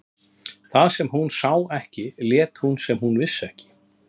Það sem hún sá ekki lét hún sem hún vissi ekki.